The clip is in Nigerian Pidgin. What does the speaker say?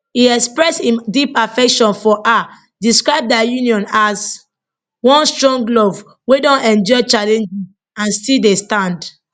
e express im deep affection for her describe dia union as one strong love wey don endure challenges and still dey stand